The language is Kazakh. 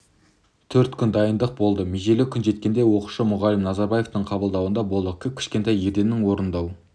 төрт күн дайындық болды межелі күн жеткенде оқушы мұғалім назарбаевтың қабылдауында болдық кіп-кішкентай ерденнің орындау